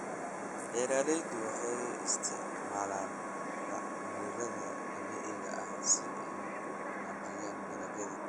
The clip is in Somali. Beeraleydu waxay isticmaalaan bacriminta dabiiciga ah si ay u wanaajiyaan dalagyada.